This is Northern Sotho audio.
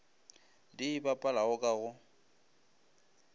di e bapalago ka go